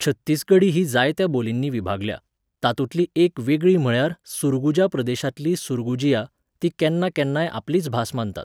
छत्तीसगढी ही जायत्या बोलींनी विभागल्या, तातूंतली एक वेगळी म्हळ्यार सुरगुजा प्रदेशांतली सुरगुजिया, ती केन्ना केन्नाय आपलीच भास मानतात.